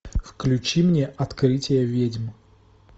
включи мне открытие ведьм